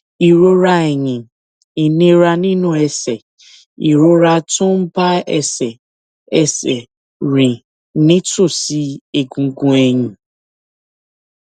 ìrora ẹyìn ìnira nínú ẹsè ìrora tó ń bá ẹsè ẹsè rìn nítòsí egungun ẹyìn